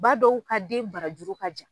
Ba dɔw ka den barajuru ka jan.